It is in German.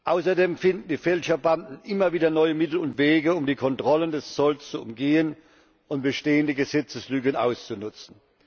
Außerdem finden die Fälscherbanden immer wieder neue Mittel und Wege, um die Kontrollen des Zolls zu umgehen und bestehende Gesetzeslücken auszunutzen.